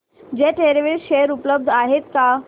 jet Airways share उपलब्ध आहेत का